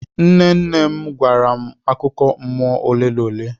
Nne nne m gwara m akụkọ mmụọ ole na ole.